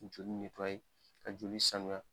Joli ka joli sanuya